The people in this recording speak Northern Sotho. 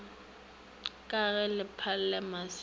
ka se lebale maswi a